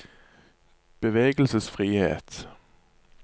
bevegelsesfrihet